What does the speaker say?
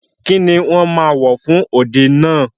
Kíni wọ́n ma wò fún òde náà?